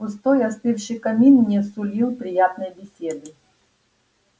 пустой остывший камин не сулил приятной беседы